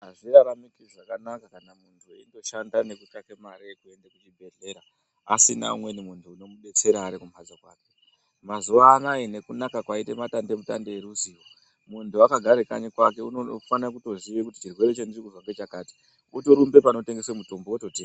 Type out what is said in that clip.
Hazviraramiki zvakanaka kana muntu eindoshanda nekutsvake mare yekuende kuchibhehlera asina umweni muntu unomudetsera arikumhatso kwake. Mazuvaano aya nekunaka kwaita madandemutande eruzivo, muntu akagare kanyi kwake unofane kutoziya kuti chirwere chandirikuzwa ngechakati, otorumbe panotengeswe mutombo, ototenga.